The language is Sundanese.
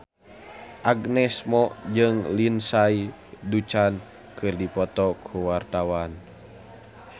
Agnes Mo jeung Lindsay Ducan keur dipoto ku wartawan